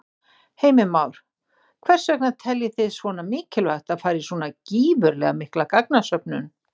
Heimir Már: Hvers vegna teljið þið svona mikilvægt að fara í svona gífurlega mikla gagnasöfnun?